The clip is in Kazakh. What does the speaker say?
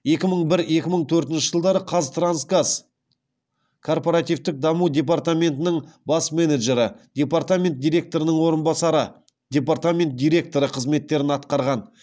екі мың бір екі мың төртінші жылдары қазтрансгаз корпоративтік даму департаментінің бас менеджері департамент директорының орынбасары департамент директоры қызметтерін атқарған